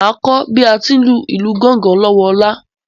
Mà á kọ bí à à ti ń lu gángan lọ́wọ Ọlá.